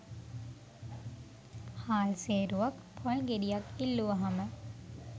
හාල් සේරුවක්‌ පොල් ගෙඩියක්‌ ඉල්ලුවහම